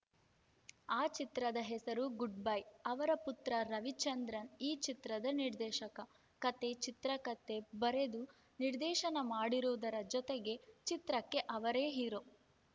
ಆ ಚಿತ್ರದ ಹೆಸರು ಗುಡ್‌ ಬೈ ಅವರ ಪುತ್ರ ರವಿಚಂದ್ರನ್‌ ಈ ಚಿತ್ರದ ನಿರ್ದೇಶಕ ಕತೆ ಚಿತ್ರಕತೆ ಬರೆದು ನಿರ್ದೇಶನ ಮಾಡಿರುವುದರ ಜತೆಗೆ ಚಿತ್ರಕ್ಕೆ ಅವರೇ ಹೀರೋ